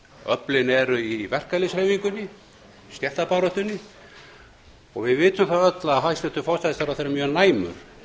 öflin eru í verkalýðshreyfingunni stéttabaráttunni og við vitum öll að hæstvirtur forsætisráðherra er mjög næmur